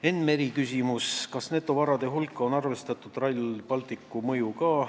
Enn Meri küsimus: kas netovarade hulka on arvestatud ka Rail Balticu mõju?